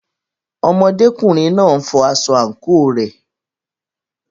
Ọmọdékùnrin náà n fọ aṣọ àǹkóò rẹ̀.